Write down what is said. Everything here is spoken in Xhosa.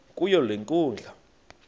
kuyo le nkundla